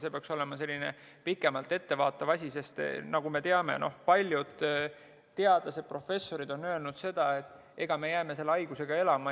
See peaks olema selline pikemalt ette vaatav asi, sest nagu me teame, paljud teadlased, professorid on öelnud, et me jäämegi selle haigusega elama.